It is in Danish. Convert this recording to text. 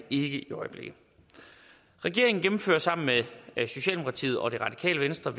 i øjeblikket regeringen gennemfører sammen med socialdemokratiet og det radikale venstre